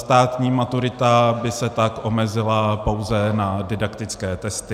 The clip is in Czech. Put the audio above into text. Státní maturita by se tak omezovala pouze na didaktické testy.